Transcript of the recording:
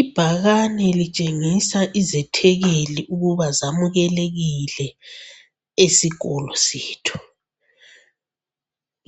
Ibhakane litshengisa izethekeli ukuba zamukelekile esikolo sethu.